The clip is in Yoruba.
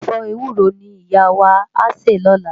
Òbè èfò éwúró ni Iyá wá á sè lòlá